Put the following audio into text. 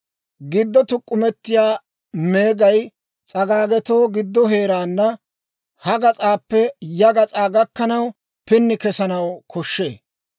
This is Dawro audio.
Giddo tuk'k'umetiyaa meegay s'agaagetoo giddo heeraana ha gas'aappe ya gas'aa gakkanaw pini kesanaw koshshee.